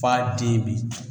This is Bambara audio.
F'a den bi